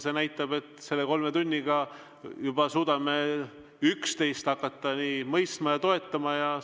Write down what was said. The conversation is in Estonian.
See näitab, et selle kolme tunniga oleme suutnud üksteist nii mõistma kui ka toetama hakata.